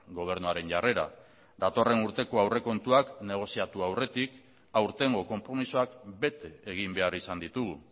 gobernuaren jarrera datorren urteko aurrekontuak negoziatu aurretik aurtengo konpromisoak bete egin behar izan ditugu